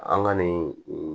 An ka nin